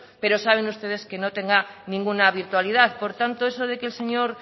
pero saben ustedes que no tendrá ninguna virtualidad por tanto eso de que el señor